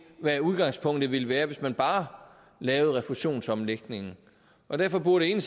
hvad udgangspunktet ville være hvis man bare lavede refusionsomlægningen derfor burde